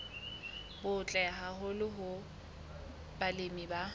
butle haholo hoo balemi ba